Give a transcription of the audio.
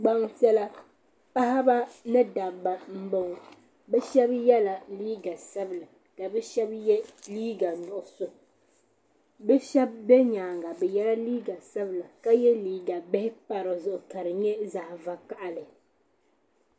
Gbaŋ' piɛla paɣaba ni dabba m-bɔŋɔ shɛba yela liiga sabila ka bɛ shɛba ye liiga nuɣisɔ bɛ shɛba be nyaaga bɛ yela liiga sabila ka ye liiga bihi pa di zuɣu ka di nyɛ zaɣ' vakahili.